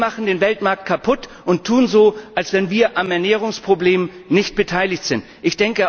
Wir machen den Weltmarkt kaputt und tun so, als ob wir am Ernährungsproblem nicht beteiligt wären.